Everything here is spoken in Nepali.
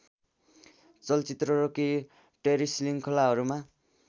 चलचित्र र केही टेलिश्रृङ्खलाहरूमा